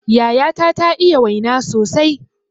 Yayata ta iya waina sosai